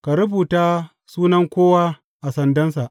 Ka rubuta sunan kowa a sandansa.